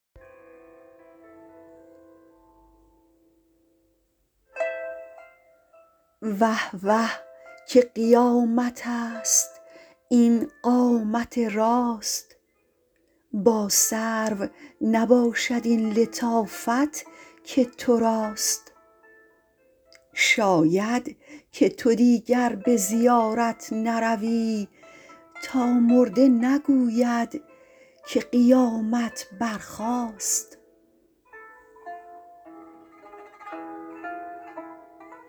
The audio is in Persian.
وه وه که قیامت ست این قامت راست با سرو نباشد این لطافت که تو راست شاید که تو دیگر به زیارت نروی تا مرده نگوید که قیامت برخاست